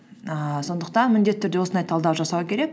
ііі сондықтан міндетті түрде осындай талдау жасау керек